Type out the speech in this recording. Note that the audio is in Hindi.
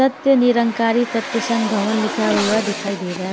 सत्य निरंकारी सत्यसंग भवन लिखा हुआ दिखाई दे रहा है।